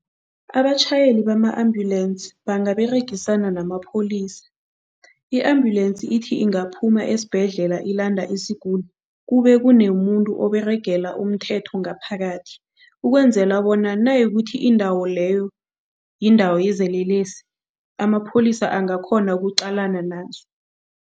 Abatjhayeli bama-ambulensi bangaberegisana namapholisa. I-ambulensi ithi ingaphuma esibhedlela ilanda isiguli, kube kunomuntu oberegela umthetho ngaphakathi. Ukwenzela bona nayikuthi indawo leyo yindawo yezelelesi, amapholisa angakghona ukuqalana nazo.